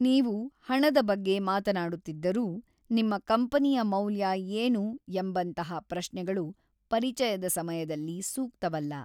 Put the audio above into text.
ನೀವು ಹಣದ ಬಗ್ಗೆ ಮಾತನಾಡುತ್ತಿದ್ದರೂ, "ನಿಮ್ಮ ಕಂಪನಿಯ ಮೌಲ್ಯ ಏನು?" ಎಂಬಂತಹ ಪ್ರಶ್ನೆಗಳು ಪರಿಚಯದ ಸಮಯದಲ್ಲಿ ಸೂಕ್ತವಲ್ಲ.